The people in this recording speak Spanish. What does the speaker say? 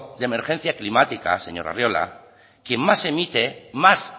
de emergencia climática señor arriola quien más emite más